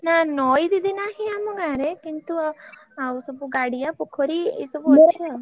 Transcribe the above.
ନା ନଇ ଦିଦି ନାହିଁ ଆମ ଗାଁରେ କିନ୍ତୁ ଆଉ ସବୁ ଗାଡିଆ ପୋଖରୀ ଏଇ ସବୁ ଅଛି।